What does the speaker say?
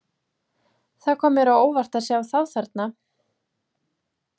Það kom mér á óvart að sjá þá þarna.